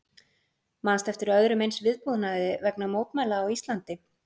Manstu eftir öðrum eins viðbúnaði vegna mótmæla á Íslandi?